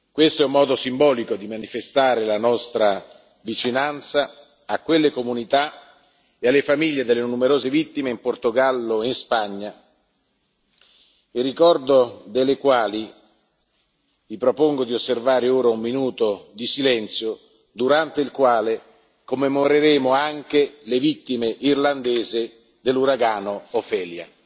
Questo è un modo simbolico di manifestare la nostra vicinanza a quelle comunità e alle famiglie delle numerose vittime in Portogallo e in Spagna, in ricordo delle quali vi propongo di osservare ora un minuto di silenzio, durante il quale commemoreremo anche le vittime irlandesi dell'uragano Ophelia.